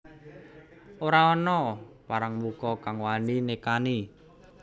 Ora ana parangmuka kang wani nekani